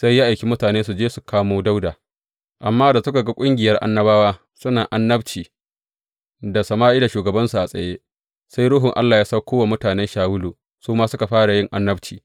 Sai ya aiki mutane su je su kamo Dawuda, amma da suka ga ƙungiyar annabawa suna annabci tare da Sama’ila shugabansu a tsaye, sai Ruhun Allah ya sauko wa mutanen Shawulu, su ma suka fara yin annabci.